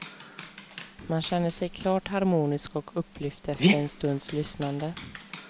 Man känner sig klart harmonisk och upplyft efter en stunds lyssnande.